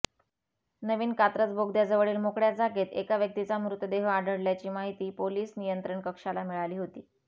नवीन कात्रज बोगद्याजवळील मोकळ्या जागेत एका व्यक्तीचा मृतदेह आढळल्याची माहिती पोलीस नियंत्रण कक्षाला मिळाली होती